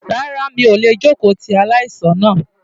Rárá mi ò lè jókòó ti aláìsàn náà.